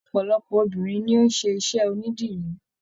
Ọpọlọpọ obìnrin ni o n ṣiṣẹ onídìrí.